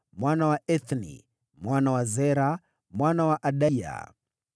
mwana wa Ethni, mwana wa Zera, mwana wa Adaya,